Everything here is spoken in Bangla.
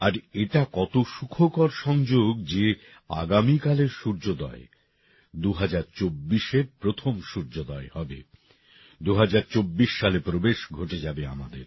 আর এটা কত সুখকর সংযোগ যে আগামীকালের সূর্যোদয় ২০২৪এর প্রথম সূর্যোদয় হবে ২০২৪ সালে প্রবেশ ঘটে যাবে আমাদের